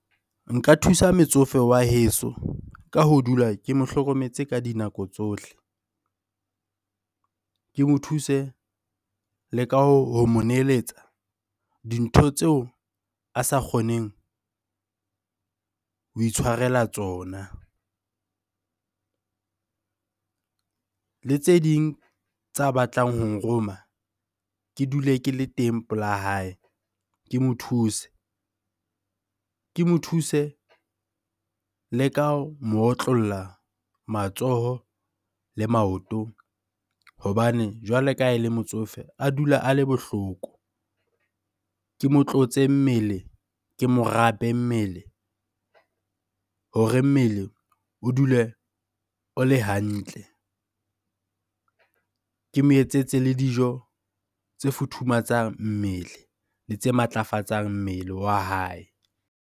Nka thusa metsofe wa heso ka ho dula ke mo hlokometse ka dinako tsohle. Ke mo thuse le ka ho mo neletsa dintho tseo a sa kgoneng ho ho itshwarela tsona. Le tse ding tsa batlang ho nroma, ke dule ke le teng pela hae ke mo thuse. Ke mo thuse le ka mo otlolla matsoho le maotong hobane jwale ka ha ele motsofe, a dula a le bohloko.Ke mo tlotse mmele, ke morape mmele hore mmele o dule o le hantle. Ke mo etsetse le dijo tse futhumatsang mmele le tse matlafatsang mmele wa hae.